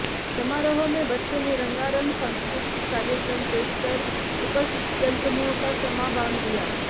समारोह में बच्चों ने रंगारंग सांस्कृतिक कार्यक्रम पेशकर उपस्थित जनसमूह का समां बांध दिया